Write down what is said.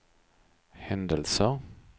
händelser